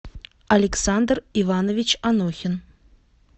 александр иванович анохин